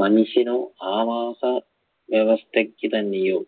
മനുഷ്യനോ ആവാസവ്യവസ്ഥയ്ക്ക് തന്നെയോ